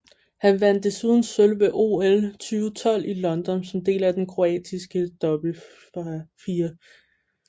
Han vandt desuden sølv ved OL 2012 i London som del af den kroatiske dobbeltfirer